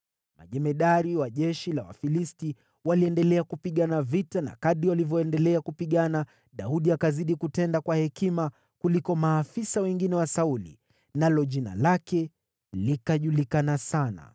Majemadari wa jeshi la Wafilisti waliendelea kupigana vita na kadiri walivyoendelea kupigana, Daudi akazidi kutenda kwa hekima kuliko maafisa wengine wa Sauli, nalo jina lake likajulikana sana.